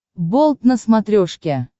болт на смотрешке